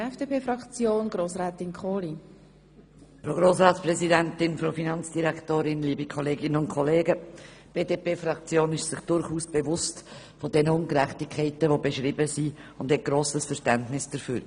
Die BDP-Fraktion ist sich der beschriebenen Ungerechtigkeiten durchaus bewusst und hat grosses Verständnis dafür.